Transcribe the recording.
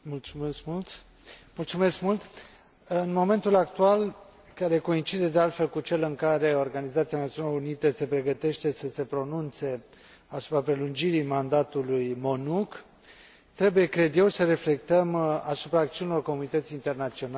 În momentul actual, care coincide, de altfel, cu cel în care Organizația Națiunilor Unite se pregătește să se pronunțe asupra prelungirii mandatului MONUC, trebuie, cred eu, să reflectăm asupra acțiunilor comunității internaționale, în lumina situației de pe teren din